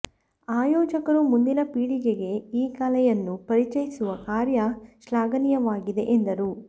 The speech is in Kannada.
ಆಯೋಜಕರು ಮುಂದಿನ ಪೀಳಿಗೆಗೆ ಈ ಕಲೆಯನ್ನು ಪರಿಚಯಿಸುವ ಕಾರ್ಯ ಶ್ಲ್ಯಾಘನೀಯವಾಗಿದೆ ಎಂದರು